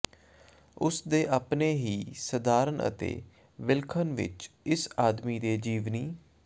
ਉਸ ਦੇ ਆਪਣੇ ਹੀ ਸਧਾਰਨ ਅਤੇ ਵਿਲੱਖਣ ਵਿਚ ਇਸ ਆਦਮੀ ਦੇ ਜੀਵਨੀ